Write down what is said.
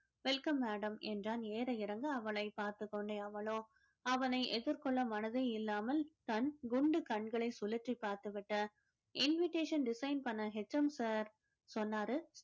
welcome madam என்றான் ஏற இறங்க அவளை பார்த்துக் கொண்டே அவளோ அவனை எதிர்கொள்ள மனதே இல்லாம தன் குண்டு கண்களை சுழற்றி பார்த்து விட்ட invitation design பண்ண HM sir சொன்னாரு